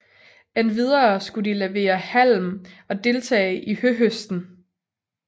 Endvidere skulle de levere halm og deltage i høhøsten